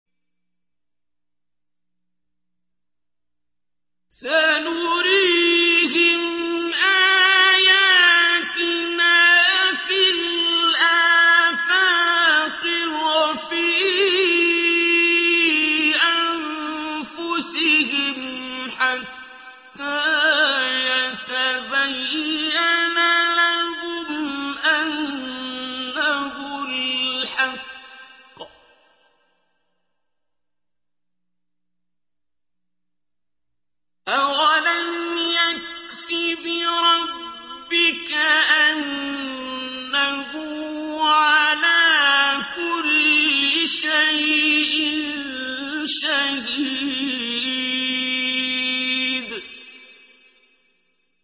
سَنُرِيهِمْ آيَاتِنَا فِي الْآفَاقِ وَفِي أَنفُسِهِمْ حَتَّىٰ يَتَبَيَّنَ لَهُمْ أَنَّهُ الْحَقُّ ۗ أَوَلَمْ يَكْفِ بِرَبِّكَ أَنَّهُ عَلَىٰ كُلِّ شَيْءٍ شَهِيدٌ